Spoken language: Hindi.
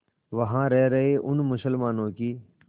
वहां रह रहे उन मुसलमानों की